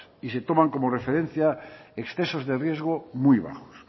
y se toman como referencia excesos de riesgo muy bajos